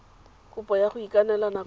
kopo ya go ikanela nakwana